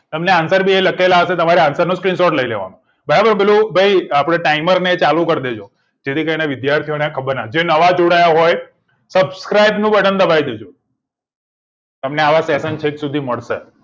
એમને answer બી અહી લખેલા હશે તમારે answer નો screenshot લઇ લેવા નો બરાબર ભાઈ પેલું આપડે timer ને ચાલુ કરી દેજો જેથી કરી ને વિદ્યાર્થી ઓ ને ખબર ના હોય જે નવા જોડાયા હોય subscribe નું બટન દબાવી દેજો તમને આવા session છેક સુધી મળશે